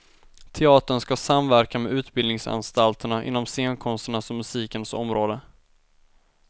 Teatern skall samverka med utbildningsanstalterna inom scenkonsternas och musikens område.